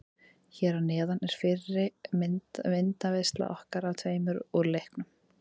Hér að neðan er fyrri myndaveisla okkar af tveimur úr leiknum.